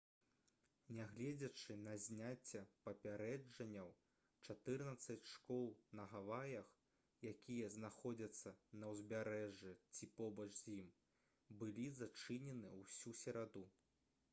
нягледзячы на зняцце папярэджанняў чатырнаццаць школ на гаваях якія знаходзяцца на ўзбярэжжы ці побач з ім былі зачыненыя ўсю сераду